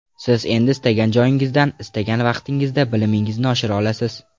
Siz endi istagan joyingizdan, istagan vaqtingizda bilimingizni oshira olasiz.